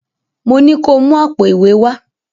Mo ní ko mú àpò ìwé wá!